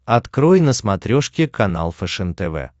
открой на смотрешке канал фэшен тв